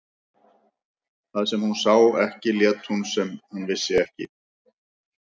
Það sem hún sá ekki lét hún sem hún vissi ekki.